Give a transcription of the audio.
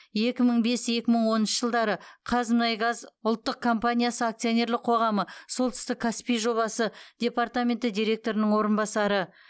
екі мың бес екі мың оныншы жылдары қазмұнайгаз ұлттық компаниясы акционерлік қоғамы солтүстік каспий жобасы департаменті директорының орынбасары